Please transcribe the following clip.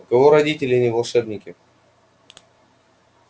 у кого родители не волшебники